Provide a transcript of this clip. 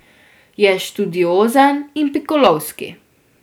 Je študiozen in pikolovski.